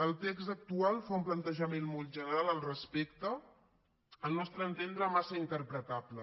el text actual fa un plantejament molt general al respecte al nostre entendre massa interpretable